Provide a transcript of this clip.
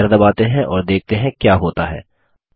चलिए Enter दबाते हैं और देखते हैं क्या होता है